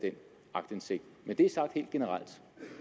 aktindsigt men det er sagt helt generelt